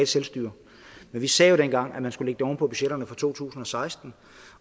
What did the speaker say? selvstyre men vi sagde dengang at man skulle lægge det oven på budgetterne for to tusind og seksten